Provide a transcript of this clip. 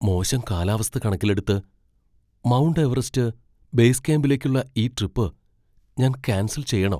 മോശം കാലാവസ്ഥ കണക്കിലെടുത്ത്, മൗണ്ട് എവറസ്റ്റ് ബേസ് ക്യാമ്പിലേക്കുള്ള ഈ ട്രിപ്പ് ഞാൻ കാൻസൽ ചെയ്യണോ ?